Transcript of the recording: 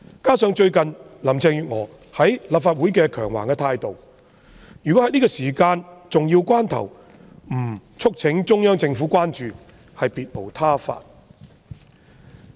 加上最近林鄭月娥在立法會的強橫態度，如果在這個重要關頭，我們不促請中央政府關注，便別無他法。